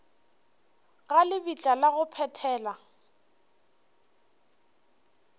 ga lebitla la go phethela